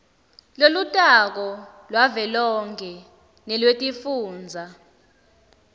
lolutako lwavelonkhe nelwetifundza